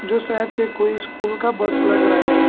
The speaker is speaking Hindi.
जो शायद से कोई स्कूल का बस लग रहा है।